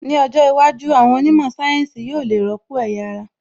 Ní ọjọ́ iwájú, àwọn onímọ̀ sáyẹ́ǹsì yóò le rọ́pò ẹ̀yà ara